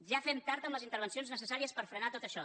ja fem tard amb les intervencions necessàries per frenar tot això